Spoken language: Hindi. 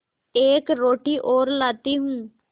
एक रोटी और लाती हूँ